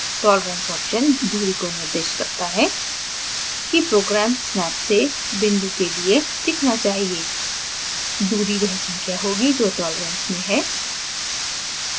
tolerance option दूरी को निर्दिष्ट करता है कि program snap से बिंदु के लिए दिखना चाहिए दूरी वह संख्या होगी जो tolerance में है